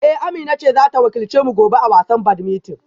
Eh Amina ce za ta wakilce mu gobe a wasan badminton